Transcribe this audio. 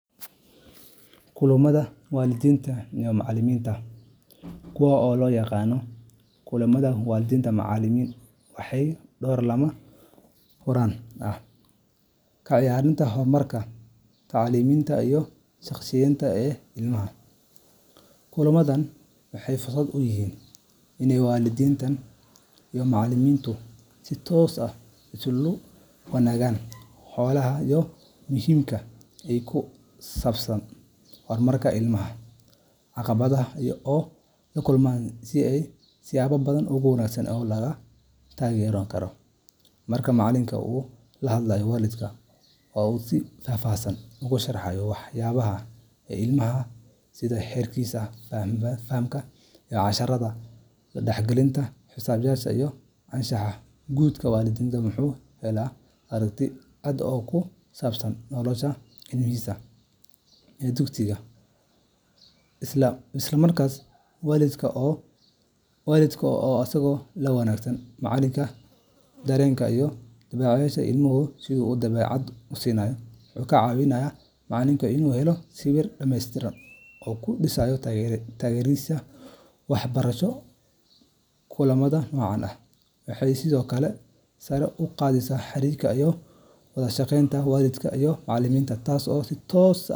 Kulamada waalidiinta iyo macallimiinta kuwa loo yaqaanno Kulamada waalid macallin waxay door lama huraan ah ka ciyaaraan horumarka tacliimeed iyo shakhsiyeed ee ilmaha. Kulamadan waxay fursad u yihiin in waalidiinta iyo macallimiintu si toos ah isula wadaagaan xogaha muhiimka ah ee ku saabsan horumarka ilmaha, caqabadaha uu la kulmo, iyo siyaabaha ugu wanaagsan ee lagu taageeri karo. Marka macallinka uu la hadlo waalidka oo uu si faahfaahsan ugu sharxo waxqabadka ilmaha sida heerkiisa fahamka casharrada, la dhaqanka saaxiibbadiis, iyo anshaxa guud waalidka wuxuu helaa aragti cad oo ku saabsan nolosha ilmihiisa ee dugsiga gudaheeda. Isla markaasna, waalidka oo isaguna la wadaaga macallinka dareenka iyo dabeecadaha ilmuhu ku leeyahay guriga, wuxuu ka caawiyaa macallinka inuu helo sawir dhameystiran oo uu ku dhiso taageeradiisa waxbarasho. Kulamada noocan ah waxay sidoo kale sare u qaadaan xiriirka iyo wada shaqaynta waalidiinta iyo macallimiinta, taas oo si toos ah.